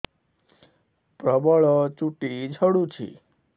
ପ୍ରବଳ ଚୁଟି ଝଡୁଛି